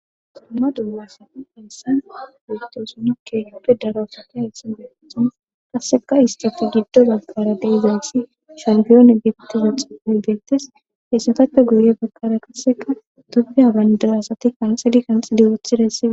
Suma dullasa essan beyto sunakke yoppe dara wusati hayssin betethon qasseka isxofi giddo baggara deizayssi shampiyoone geptiza xupi beyttes heessatappe guye baggara qasseka dobi abayndar asati kanxidi kanxidiwothidassii.